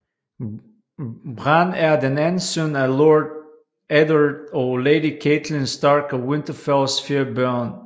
Bran er den anden søn af Lord Eddard og Lady Catelyn Stark af Winterfells fire børn